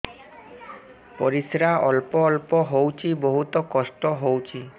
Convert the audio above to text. ପରିଶ୍ରା ଅଳ୍ପ ଅଳ୍ପ ହଉଚି ବହୁତ କଷ୍ଟ ହଉଚି